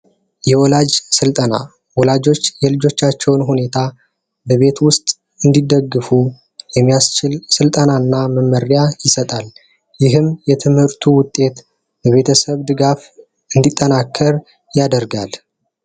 የወላጅ ስልጠና ወላጆች የልጆቻቸውን ሁኔታ በቤት ውስጥ እንዲደግፉ የሚያስችል ስልጠና እና መመሪያ ይሰጣል። ይህም የትምህርቱ ውጤት የቤተሰብ ድጋፍ እንዲጠናከር ያደርጋል።